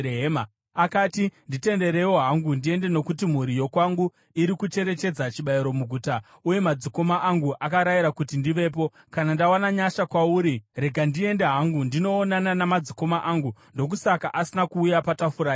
Akati, ‘Nditenderewo hangu ndiende nokuti mhuri yokwangu iri kucherechedza chibayiro muguta uye madzikoma angu akarayira kuti ndivepo. Kana ndawana nyasha kwauri, rega ndiende hangu ndinoonana namadzikoma angu.’ Ndokusaka asina kuuya patafura yamambo.”